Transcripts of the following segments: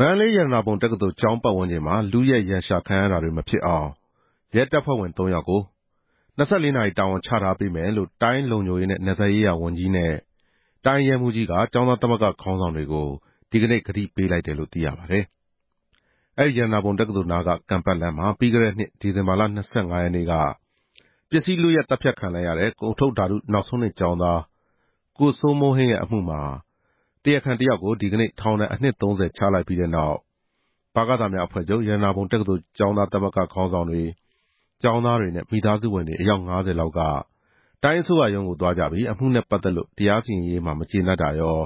မန္တလေး ရတနာပုံတက္ကသိုလ်ကျောင်းပတ်ဝန်းကျင်မှာ လုယက်ရန်ရှာခံရတာတွေမဖြစ်အောင် ရဲတပ်ဖွဲ့ဝင် သုံး‌ယောက်ကို ၂၄ နာရီ တာဝန်ချထားပေးမယ်လို့ တိုင်းလုံခြုံရေးနဲ့နယ်စပ်ရေးရာဝန်ကြီးနဲ့ တိုင်းရဲမှူးကြီးက ကျောင်းသားသမဂ္ဂခေါင်းဆောင်တွေကို ဒီနေ့ ဒီဇင်ဘာလ ၂၃ ရက်နေ့မှာ ကတိပေးလိုက်တယ်လို့ သိရပါတယ်။ အဲဒီရတနာပုံတက္ကသိုလ်နားက ကန်ပတ်လမ်းမှာ ပြီးခဲ့တဲ့နှစ် ဒီဇင်ဘာလ ၂၅ နေ့က ပစ္စည်းလုယက် သတ်ဖြတ်ခံလိုက်ရတဲ့ ကုန်ထုတ်ဓာတုနောက်ဆုံးနှစ်ကျောင်းသား ကိုစိုးမိုးဟိန်းအမှုမှာ တရားခံတယောက်ကို ဒီနေ့ ထောင်ဒဏ်အနှစ် ၃ဝ ချလိုက်ပြီးတဲ့နောက်၊ ဗကသများအဖွဲ့ချုပ် ရတနာပုံတက္ကသိုလ်သမဂ္ဂ ခေါင်းဆောင်တွေ၊ ကျောင်းသားတွေနဲ့ မိသားစုဝင်တွေအယောက် ၅ဝ လောက်က တိုင်းအစိုးရရုံးကို သွားကြပြီး အမှုနဲ့ ပတ်သက်လို့ တရားစီရင်ရေးမှာ မကျေနပ်တာရော၊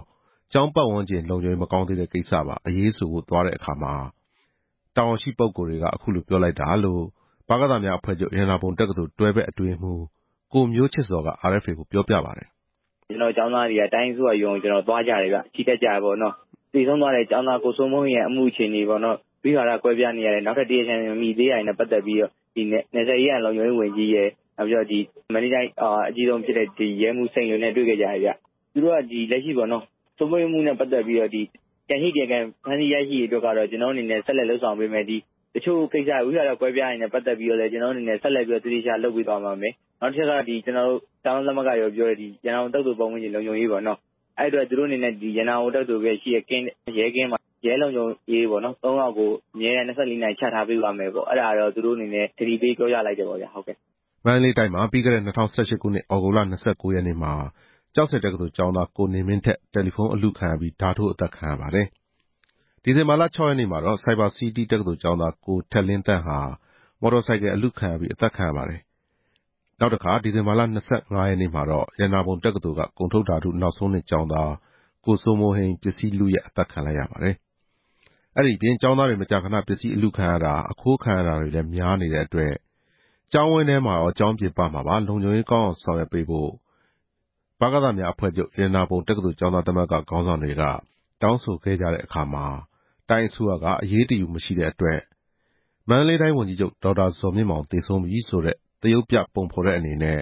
ကျောင်းပတ်ဝန်းကျင် လုံခြုံရေးမကောင်းသေးတဲ့ကိစ္စပါ အရေးဆိုဖို့ သွားကြတဲ့အခါမှာ နယ်လုံဝန်ကြီးနဲ့ ရဲမှူးက ပြောလိုက်တာလို့ ဗကသများအဖွဲ့ချုပ် ရတနာပုံတက္ကသိုလ် တွဲဖက်အတွင်းရေးမှူး ကိုမျိုးချစ်ဇော်က RFA ကို ပြောပြပါတယ်။ “ကျနော်တို့ ကျောင်းသားတွေက တိုင်းအစိုးရရုံးကိုသွားကြတယ်ဗျ။ ချီတက်ကြတယ်ပေါ့နော်။ သေဆုံးသွားတဲ့ ကျောင်းသား ကိုစိုးမိုးဟိန်းရဲ့အမှုအခြေအနေပေါ့။ ဝိဝါဒကွဲပြားနေတာတွေ နောက်ထပ်တရားခံမမိသေးတာတွေနဲ့ပတ်သက်ပြီးတော့ နယ်စပ်ရေးရာနဲ့လုံခြုံရေးဝန်ကြီးရယ် မန္တလေးတိုင်းရဲတပ်ဖွဲ့က အကြီးဆုံးဖြစ်တဲ့ ရဲမှူးကြီးစိန်လွင်ရယ်နဲ့ တွေ့ခဲ့ကြတယ်။ သူတို့က စိုးမိုးဟိန်းအမှုနဲ့ ပတ်သက်ပြီးတော့ ကျန်နေတဲ့တရားခံတွေ ဖမ်းဆီးမိရေးကို ဆက်ပြီးလုပ်ဆောင်ပေးမယ်။ ဝိဝါဒကွဲနေတာတွေနဲ့ ပတ်သက်လို့လည်း သေသေချာချာဆက်လုပ်ပေးသွားပါမယ်။ နောက်တချက်က ကျောင်းသားသမဂ္ဂတွေပြောတဲ့ ရတနာပုံတက္ကသိုလ်လုံခြုံရေးပေါ့နော်။ အဲဒီအတွက် တက္ကသိုလ်ရှေ့ရဲကင်းမှာ တပ်ဖွဲ့ဝင် သုံးယောက်ကို ၂၄ နာရီချထားပေးပါ့မယ်လို့ သူတို့ကတိပေးပြောလိုက်ပါတယ်” မန္တလေးတိုင်းမှာ ပြီးခဲ့တဲ့ ၂ဝ၁၈ ခုနှစ် သြဂုတ်လ ၂၉ ရက်နေ့မှာ ကျောက်ဆည်တက္ကသိုလ် ကျောင်းသား ကိုနေမင်းထက် တယ်လီဖုန်းအလုခံရပြီး ဓားထိုးအသတ်ခံရပါတယ်။ ဒီဇင်ဘာလ ၆ ရက် နေ့မှာ ဆိုက်ဘာစီးတီးတက္ကသိုလ်ကျောင်းသား ကိုထက်လင်းသန့်ဟာ မော်တော်ဆိုင်ကယ် အလုခံရပြီး အသတ်ခံရပါတယ်။ ဒီဇင်ဘာလ ၂၅ ရက်နေ့မှာတော့ ရတနာပုံတက္ကသိုလ်က ကုန်ထုတ်ဓာတု နောက်ဆုံးနှစ်ကျောင်းသား ကိုစိုးမိုးဟိန်း အသတ်ခံလိုက်ရပါတယ်။ အဲဒီအပြင် ကျောင်းသားတွေ မကြာခဏပစ္စည်းအလုခံရတာ၊ အခိုးခံရတာတွေလဲ များနေတဲ့အတွက် ကျောင်းဝင်းထဲရော ကျောင်းပြင်ပမှာပါ လုံခြုံရေးကောင်းအောင်ဆောင်ရွက်ပေးဖို့ ရတနာပုံ တက္ကသိုလ် ကျောင်းသားသမဂ္ဂ ခေါင်းဆောင်တွေက တောင်းဆိုခဲ့ကြတဲ့အခါမှာ တိုင်းအစိုးရက အရေးတယူမရှိ တဲ့အတွက် မန္တလေးတိုင်းဝန်ကြီးချုပ်ဒေါက်တာဇော်မြင့်မောင်သေဆုံးပြီဆိုတဲ့ သရုပ်ပြ ပုံဖော်တဲ့အနေ နဲ့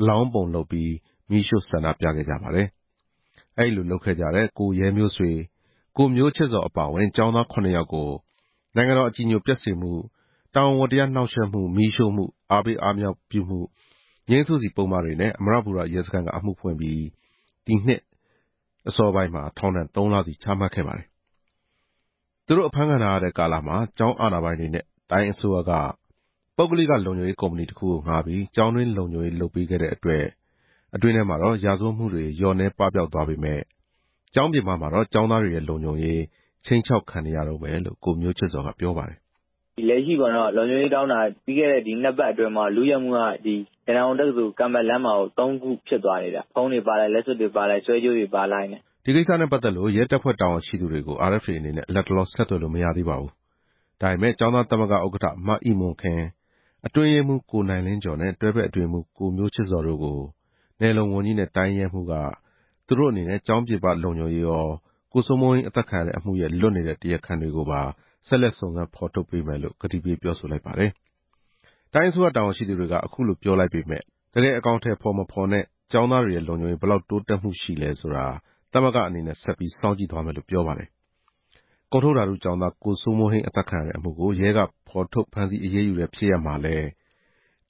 အလောင်းပုံလုပ်ပြီးမီးရှို့ဆန္ဒပြခဲ့ကြပါတယ်။ အဲဒီလိုလုပ်တဲ့ ကိုရဲမျိုးဆွေ၊ ကိုမျိုးချစ်ဇော်အပါအဝင် ကျောင်းသား ခုနှစ်ယောက်ကို နိုင်ငံတော်အကြည်ညိုပျက်စေမှု၊ တာဝန်ဝတ္တရားနှောင့်ယှက်မှု၊ မီးရှို့မှု၊ အားပေးအားမြှောက်မှု၊ ငြိမ်းစုစီပုဒ်မတွေနဲ့ အမရပူရ ရဲစခန်းက အမှုဖွင့်ပြီး ထောင်ဒဏ်သုံးလစီ ချမှတ်လိုက်ပါတယ်။ သူတို့အဖမ်းခံထားရတဲ့ကာလမှာ ကျောင်းအာဏာပိုင်တွေနဲ့ တိုင်းအစိုးရက ပုဂ္ဂလိကလုံခြုံရေး ကုမ္ပဏီတခုကိုငှားပြီး ကျောင်းတွင်းလုံခြုံရေးလုပ်ပေးခဲ့တဲ့အတွက် အတွင်းထဲမှာတော့ ရာဇဝတ်မှုတွေ လျော့နည်းပပျောက်သွားပေမယ့် ကျောင်းပြင်ပမှာတော့ ကျောင်းသားတွေရဲ့လုံခြုံရေး ခြိမ်းခြောက်ခံနေရတုန်းပဲလို့ ကိုမျိုးချစ်ဇော်ကပြောပါတယ်။ “ကျနော်တို့ လုံခြုံရေးတောင်းတာက ပြီးခဲ့တဲ့သတင်းနှစ်ပတ်အတွင်းမှာတင် ရတနာပုံတက္ကသိုလ် ကန်ပတ်လမ်းမှာ လုယက်မှု သုံးမှု ဆက်တိုက်ဖြစ်ခဲ့တယ်။ ဝင်ဝင်လုသွားတာ ဖုန်းတွေပါတယ် လက်စွပ်တွေပါတယ် ဆွဲကြိုးတွေပါတယ် ” ဒီကိစ္စနဲ့ပတ်သက်လို့ ရဲတပ်ဖွဲ့တာဝန်ရှိသူတွေကို လတ်တလော ဆက်သွယ်လို့မရသေးပါဘူး။ ဒါပေမယ့် ကျောင်းသားသမဂ္ဂဥက္ကဋ္ဌ မအိမွန်ခင်၊ အတွင်းရေးမှူး ကိုနိုင်လင်းကျော်နဲ့ တွဲဖက် အတွင်းရေးမှူး ကိုမျိုးချစ်ဇော်တို့ကို နယ်လုံဝန်ကြီးနဲ့ တိုင်းရဲမှူးကြီးက သူတို့အနေနဲ့ကျောင်းပြင်ပ လုံခြုံရေးရော၊ ကိုစိုးမိုးဟိန်းအသတ်ခံရတဲ့အမှုရဲ့ လွတ်နေတဲ့တရားခံတွေကို ဆက်လက်စုံစမ်း ဖော်ထုတ်ပေးမယ်လို့ကတိပေးလိုက်ပါတယ်။ တိုင်းအစိုးရတာဝန်ရှိသူတွေက အခုလိုပြောလိုက်ပေမယ့် တကယ်အကောင်အထည်ဖော်မဖော်နဲ့ ကျောင်းသားတွေရဲ့လုံခြုံရေး ဘယ်လောက်တိုးတက်မှုရှိမလဲဆိုတာ သမဂ္ဂအနေနဲ့ ဆက်ပြီး စောင့်ကြည့်သွားမယ်လို့ ပြောပါတယ်။ ကုန်ထုတ်ဓာတုကျောင်းသား ကိုစိုမိုးဟိန်းအသတ်ခံရတဲ့အမှုကို ရဲက ဖော်ထုတ်ဖမ်းဆီးအရေးယူတဲ့ဖြစ်ရပ်မှာလဲ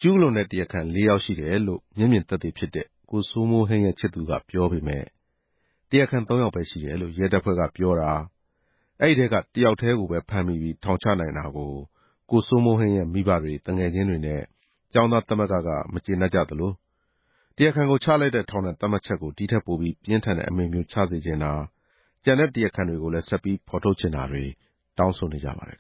ကျူးလွန်တဲ့သူ လေးယောက် ရှိတယ်လို့ မျက်မြင်သက်သေဖြစ်တဲ့ ကိုစိုးမိုးဟိန်းရဲ့ ချစ်သူက ပြောပေမယ့် တရားခံ သုံးယောက်ပဲဖြစ်တယ်လို့ ရဲတပ်ဖွဲ့ကပြောတာ။ အဲဒီထဲက တစ်ယောက်ကိုပဲ ဖမ်းမိပြီး ထောင်ချနိုင်တာကို ကိုစိုးမိုးဟိန်းရဲ့မိဘတွေ၊ သူငယ်ချင်းတွေနဲ့ ကျောင်းသားသမဂ္ဂက မကျေနပ်ကြသလို၊ တရားခံကိုချလိုက်တဲ့ ထောင်ဒဏ်သတ်မှတ်ချက်ကို ဒီထက်ပိုပြီး ပြင်းထန်တဲ့ အမိန့်မျိုးချစေချင်တာ၊ ကျန်တဲ့တရားခံတွေကိုလည်း ဆက်ပြီးဖော်ထုတ်ပေးစေချင်တာတွေ တောင်းဆိုနေကြပါတယ်